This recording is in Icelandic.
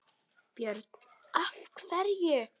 Björn: Af hverju?